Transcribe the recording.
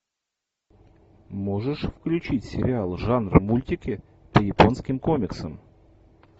можешь включить сериал жанр мультики по японским комиксам